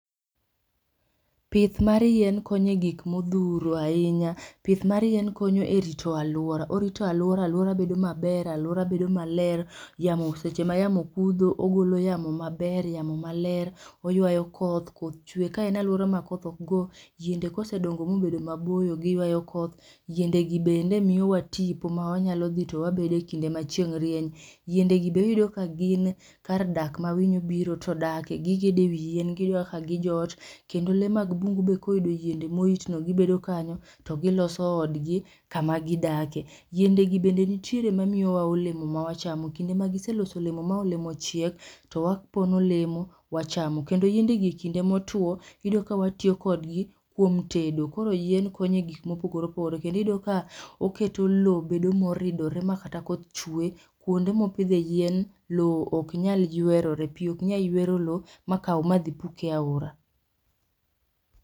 Pith mar yien konye gik modhuro ahinya, pith mar yien konyo e rito alwora. Orito alwora, alwora bedo maber alwora bedo maler. Yamo seche ma yamo kudho ogolo yamo maber yamo maler, oywayo koth koth chwe. Kaen alwora ma koth ok go, yiende kosedongo mobedo maboyo giywayo koth. Yiende gi bende miyowa tipo mawanyalo dhi to wabede e kinde ma chieng' rieny. Yiende gi be iyudo ka gin kar dak ma winyo boro to dake, gigede wi yien giyudo kaka gijot. Kendo le mag bungu be koyudo yiende moritno gibedo kanyo to giloso odgi kama gidake. Yiende gi bende nitiere mamiyowa olemo mawachamo kinde ma giseloso olemo ma olemo ochiek to wapono olemo wachamo. Kendo yiendegi e kindo motwo, iyudo kawatiyo kodgi kuom tedo. Koro yien konye gik mopogore opogore. Kendiyudo ka oketo lo bedo moridore ma kata koth chwe kuonde mopidhe yien, lo ok nyal ywerore. Pi ok nya ywero lo ma kaw madhi pukie aora.